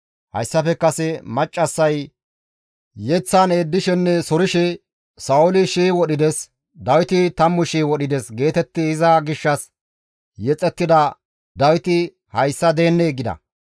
Hayssafe kase maccassay yeththan eeddishenne sorshe, « ‹Sa7ooli shii wodhides, Dawiti tammu shii wodhides› geetetti iza gishshas yexettida Dawiti hayssa deennee?» gida.